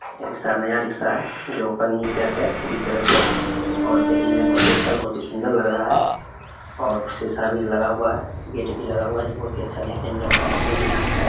ये रिक्शा नया रिक्शा है जो पन्नी पैक है पूरी तरह से और देखने में बहुत ही और अच्छा बहुत ही सुंदर लग रहा है और शीशा भी लगा हुआ है गेट भी लगा हुआ है जो बहुत ही अच्छा दिखने में लगता है।